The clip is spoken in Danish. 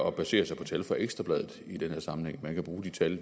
at basere sig på tal fra ekstra bladet i den her sammenhæng man kan bruge de tal